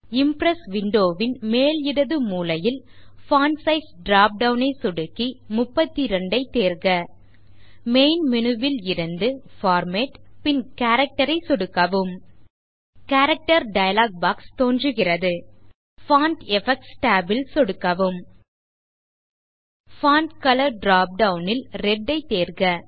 Impress window வின் மேல் இடது மூலையில் பான்ட் சைஸ் drop டவுன் ஐ சொடுக்கி 32 ஐ தேர்க மெயின் மேனு ல் இருந்து பார்மேட் பின் கேரக்டர் ஐ சொடுக்கவும் கேரக்டர் டயலாக் பாக்ஸ் தோன்றுகிறது பான்ட் எஃபெக்ட்ஸ் tab ல் சொடுக்கவும் பான்ட் கலர் drop டவுன் ல் ரெட் ஐ தேர்க